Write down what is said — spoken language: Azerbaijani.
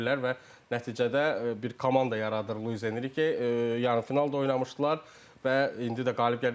Və nəticədə bir komanda yaradır Luis Enrike, yarımfinalda oynamışdılar və indi də qalib gəldilər.